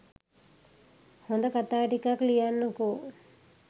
හොඳ කතා ටිකක් ලියන්නකො